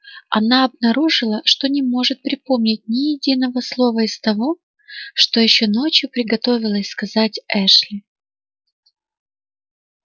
она обнаружила что не может припомнить ни единого слова из того что ещё ночью приготовилась сказать эшли